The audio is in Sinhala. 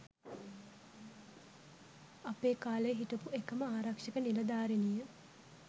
අපේ කාලෙ හිටපු එකම ආරක්ෂක නිළධාරිණිය